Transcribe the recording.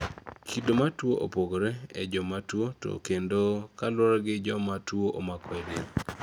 kido mar tuwo opogore e jomatuwo to kendo kaluwore gi kuoma tuwo omako e del